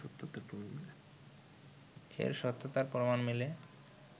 এর সত্যতার প্রমাণ মিলে